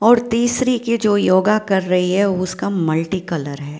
और तिस्सरी की जो योगा कर रही है उसका मल्टी कलर है।